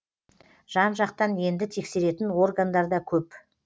жан жақтан енді тексеретін органдар да көп